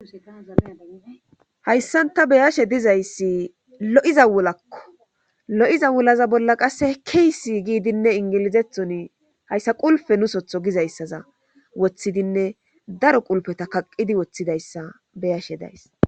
hayssant ta beyashe dizayssi lo7iza wulakko lo7iza wulaza bolla qasse kiysi giidinne ingilizethoni hayssa qulfe nusotho gizayssaza woththidinne daro qulpeta kaqqidi woththidayssa beyashe days